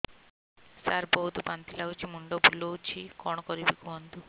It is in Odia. ସାର ବହୁତ ବାନ୍ତି ଲାଗୁଛି ମୁଣ୍ଡ ବୁଲୋଉଛି କଣ କରିବି କୁହନ୍ତୁ